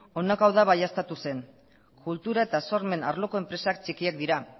honako hau baieztatu zen kultura eta sormen arloko enpresak txikiak dira